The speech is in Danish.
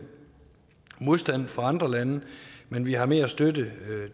modstand fra andre lande men vi har mere støtte